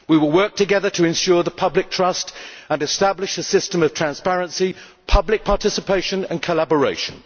We will work together to ensure the public trust and establish a system of transparency, public participation and collaboration.